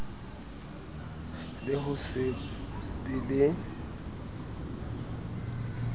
le ho se be le